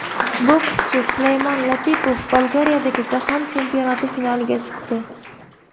Bokschi Sulaymon Latipov Bolgariyadagi jahon chempionati finaliga chiqdi.